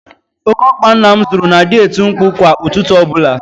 Óké ọkpa nna m zụrụ na-adị eti mkpu kwa ụtụtụ ọbụla.